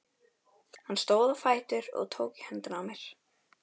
Hann stóð á fætur og tók í höndina á mér.